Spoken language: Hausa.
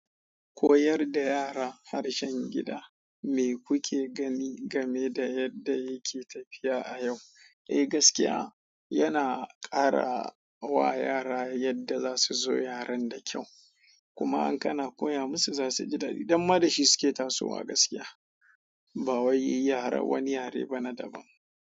Koyar da yara harshen gida mai kuke gani game da yadda yake tafiya a yau. Eh gaskiya, yana ƙara wa yara yadda za su so yaren da kyau. Kuma in kana koya musu za su ji daɗi don ma da shi suke tasowa gaskiya. Ba wai yaren wani yare ba na daban.